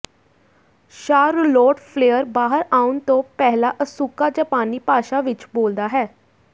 Charlotte Flair ਬਾਹਰ ਆਉਣ ਤੋਂ ਪਹਿਲਾਂ ਅਸੂਕਾ ਜਾਪਾਨੀ ਭਾਸ਼ਾ ਵਿਚ ਬੋਲਦਾ ਹੈ